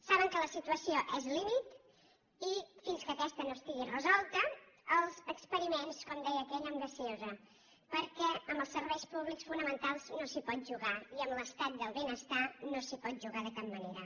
saben que la situació és límit i fins que aquesta no estigui resolta els experiments com deia aquell amb gasosa perquè amb els serveis públics fonamentals no s’hi pot jugar i amb l’estat del benestar no s’hi pot jugar de cap manera